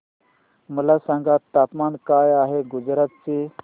मला सांगा तापमान काय आहे गुजरात चे